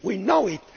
We know it.